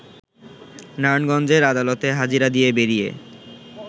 নারায়ণগঞ্জের আদালতে হাজিরা দিয়ে বেরিয়ে